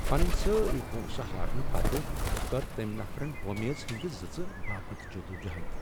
پنٕنۍ سٲری پۄنٛسہٕ ہارنہٕ پتہٕ کٔر تٔمۍ نفرن وۄمیز ہندِ زٕژِ باپت جدوجہد۔